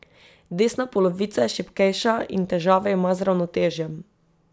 Desna polovica je šibkejša in težave ima z ravnotežjem.